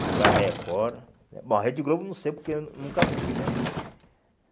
Mas a Record... Bom, a Rede Globo eu não sei porque eu nunca fui, né?